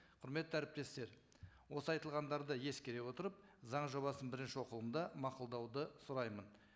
құрметті әріптестер осы айтылғандарды ескере отырып заң жобасын бірінші оқылымда мақұлдауды сұраймын